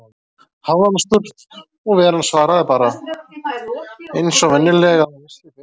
hafði hann spurt, og Veran svaraði bara, eins og venjulega, að hún vissi betur.